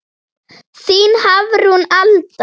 Þín Hafrún Alda.